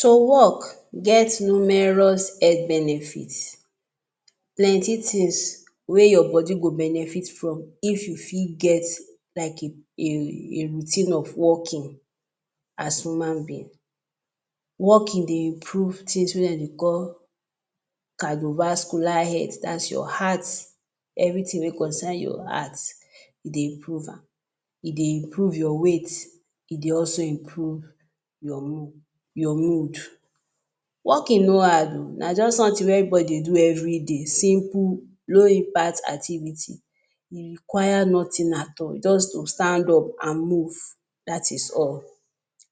To walk get numerous health benefits, plenty tins wey your body go benefit from if you fit get like a routine of walking as human being. Walking dey improve tins wey dem dey call cardiovascular health that's your heart, evritin wey concern your heart e dey improve am, e dey improve your weight, e dey also improve your mood. Walking no hard o, na just somtin wey evri body dey do evri day simple, low impact activity e require nothing at all, just to stand up and move dat is all.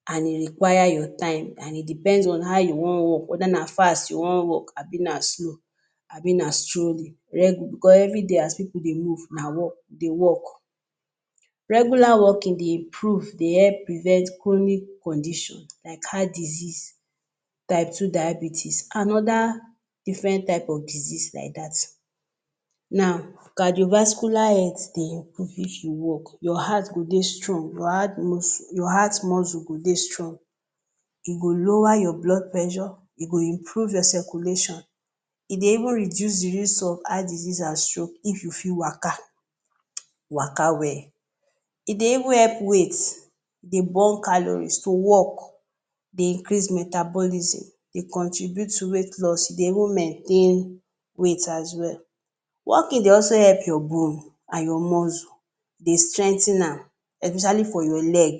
And e require your time and e depends on how you wan walk weda fast you wan walk abi na slow abi na slowly. Bicos evri day as pipu dey move na walk, dey walk. Regular walking dey improve dey help prevent chronic condition like heart disease, type two diabetes, anoda diffren type of disease like dat. Now cardiovascular health dey improve if you walk. Your heart go dey strong, your heart muscle go de strong, e go lower your blood pressure, e go improve your circulation, e dey even reduce di risk of heart disease and stroke if you fit waka, waka wel. E dey even help weight dey burn calories to walk increase metabolism dey contribute to weight loss e dey even maintain weight as well. Walking dey also help your bone and your muscle, dey strengthen am, especially for your leg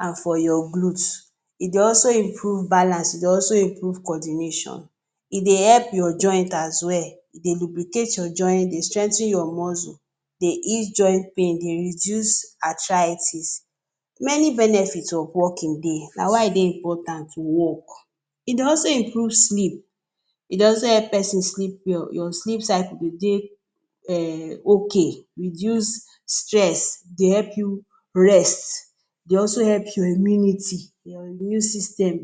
and for your glutes. E dey also improve balance dey also improve coordination, e dey help your joint as well e dey lubricate your joint dey strengthen your muscles, dey ease joint pain, dey reduce arthritis, many benefits of walking dey na why e dey important to walk. E dey also improve sleep, e dey also help pesin, your sleep circle go dey ok, reduce stress, dey help you rest, dey also help your immunity, your immune system,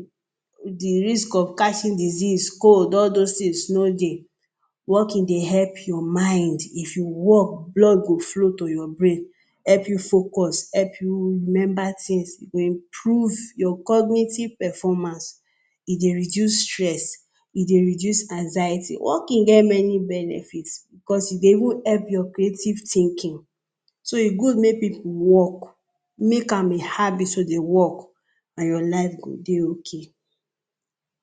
di risk of catching disease, cold, all dos tins no dey, walking dey help your mind if you walk blood go flow to your brain, help you focus, help you remember tins, your, your cognitive performance, e dey reduce stress, e dey reduce anxiety, walking get many benefits bicos e dey even help your creative thinking, so e go good make pipu walk, make am a habit to dey walk and your life go dey ok.